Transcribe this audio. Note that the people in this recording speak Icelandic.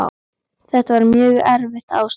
Þetta var mjög erfitt ástand.